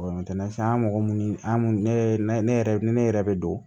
an ye mɔgɔ munnu ye ne yɛrɛ ni ne yɛrɛ bɛ don